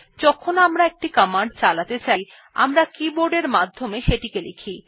যখন আমরা একটি কমান্ড চালাতে চাই আমরা কিবোর্ডের মাধ্যমে সেটি লিখি